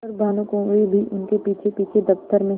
पर भानुकुँवरि भी उनके पीछेपीछे दफ्तर में